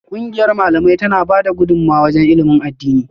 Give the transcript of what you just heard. Kungiyar Malamai tana bada gudumawa wajen ilimin addini